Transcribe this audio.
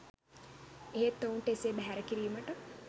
එහෙත් ඔවුන්ට එසේ බැහැර කිරීමට